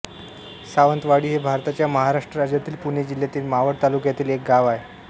सावंतवाडी हे भारताच्या महाराष्ट्र राज्यातील पुणे जिल्ह्यातील मावळ तालुक्यातील एक गाव आहे